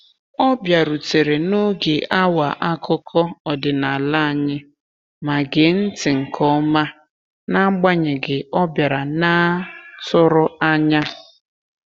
Ọ bịarutere n'oge awa akụkọ ọdịnala anyị ma gee ntị nke ọma n'agbanyeghị ọbiara naa tụrụanya.